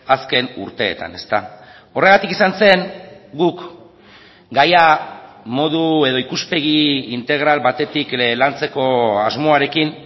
azken urteetan horregatik izan zen guk gaia modu edo ikuspegi integral batetik lantzeko asmoarekin